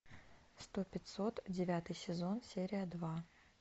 сто пятьсот девятый сезон серия два